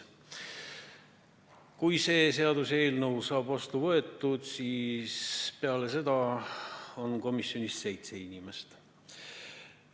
Kui see seaduseelnõu saab vastu võetud, siis hakkab komisjonis olema seitse inimest.